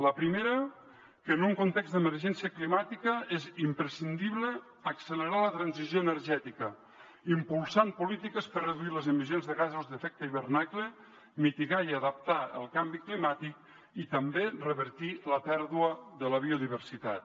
la primera que en un context d’emergència climàtica és imprescindible accelerar la transició energètica impulsant polítiques per reduir les emissions de gasos amb efecte d’hivernacle mitigar i adaptar el canvi climàtic i també revertir la pèrdua de la biodiversitat